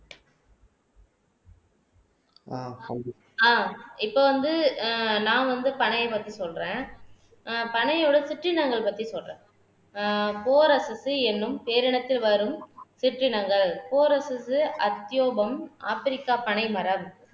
ஆஹ் இப்ப வந்து ஆஹ் நான் வந்து பனையைப் பத்தி சொல்றேன் ஆஹ் பனையோட சிற்றினங்கள் பத்தி சொல்றேன் ஆஹ் என்னும் பேரினத்தில் வரும் சிற்றினங்கள் அத்தியோகம் ஆப்பிரிக்கா பனைமரம்